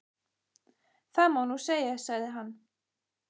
Það má nú segja, sagði hann.